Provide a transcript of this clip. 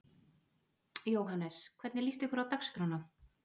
Jóhannes: Hvernig líst ykkur á dagskrána?